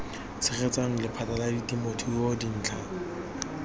tshegetsang lephata la temothuo dintlha